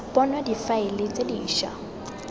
bonwa difaele tse di ša